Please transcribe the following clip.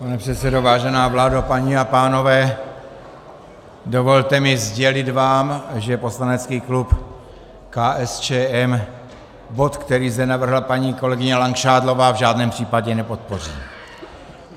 Pane předsedo, vážená vládo, paní a pánové, dovolte mi sdělit vám, že poslanecký klub KSČM bod, který zde navrhla paní kolegyně Langšádlová, v žádném případě nepodpoří.